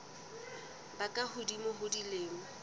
ba ka hodimo ho dilemo